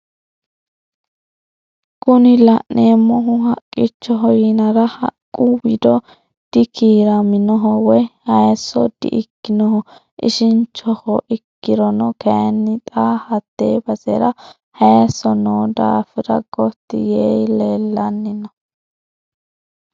Kuni la'neemohu haqichoho yinara haqqu wido dikiiraminoho woyi hayiiso di"ikkinoho ishinchoho ikkirono kayiinni xaa hatte basera hayiiso noo daafira goti yee leellanni no.